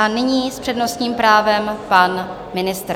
A nyní s přednostním právem pan ministr.